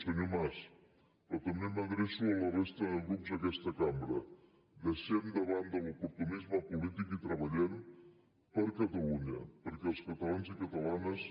senyor mas però també m’adreço a la resta de grups d’aquesta cambra deixem de banda l’oportunisme polític i treballem per catalunya perquè els catalans i catalanes